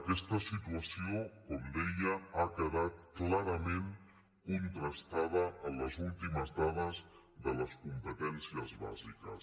aquesta situació com deia ha quedat clarament con·trastada en les últimes dades de les competències bà·siques